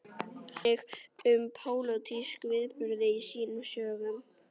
Hann fjallaði einnig um pólitíska viðburði í sínum sögum.